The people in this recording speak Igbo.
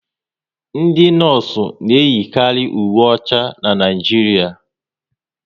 Ndị nọọsụ na eyikari uwe ọcha n'Naijiria